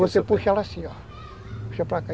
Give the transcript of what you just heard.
Você puxa ela assim, ó. Puxa para cá.